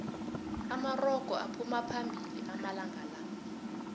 amarogo aphuma phambili amalanqala